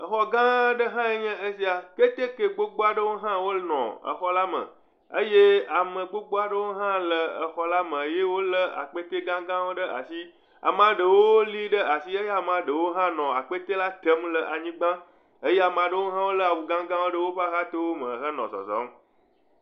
Exɔ gã aɖe hãe nye esia. Keteke gbogbo aɖewo hã wole exɔ la me eye ame gbogbo aɖewo hã le exɔ la me ye wole akpɛtɛ gãgãwo le asi. Ame aɖewo li ɖe asi eye ame aɖewo hã nɔ akpɛtɛ la tem le anyigba eye ame aɖewo hã le awu gãgãwo ɖe woƒe axatome henɔ zɔzɔm.